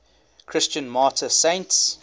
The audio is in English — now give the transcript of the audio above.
christian martyr saints